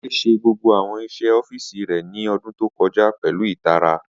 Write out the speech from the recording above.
Ade ṣe gbogbo awọn iṣẹ ọfíìsì rẹ ni ọdun to kọja pẹlu itara.